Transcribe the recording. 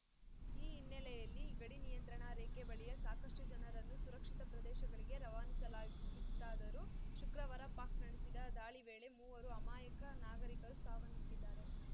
ಈ ಹಿನ್ನೆಲೆಯಲ್ಲಿ ಗಡಿ ನಿಯಂತ್ರಣ ರೇಖೆ ಬಳಿಯ ಸಾಕಷ್ಟುಜನರನ್ನು ಸುರಕ್ಷಿತ ಪ್ರದೇಶಗಳಿಗೆ ರವಾನಿಸಲಾಗಿತ್ತಾದರೂ ಶುಕ್ರವಾರ ಪಾಕ್‌ ನಡೆಸಿದ ದಾಳಿ ವೇಳೆ ಮೂವರು ಅಮಾಯಕ ನಾಗರಿಕರು ಸಾವನ್ನಪ್ಪಿದ್ದಾರೆ